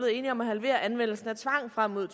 enige om at halvere anvendelsen af tvang frem mod